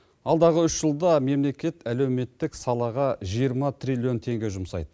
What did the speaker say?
алдағы үш жылда мемлекет әлеуметтік салаға жиырма триллион теңге жұмсайды